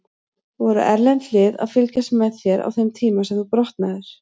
Voru erlend lið að fylgjast með þér á þeim tíma sem þú brotnaðir?